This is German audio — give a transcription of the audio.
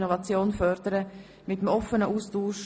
Wir führen eine freie Debatte.